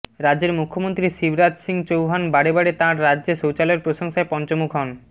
রাজ্যের মুখ্যমন্ত্রী শিবরাজ সিং চৌহান বারে বারে তাঁর রাজ্যে শৌচালয়ের প্রশংসায় পঞ্চমুখ হন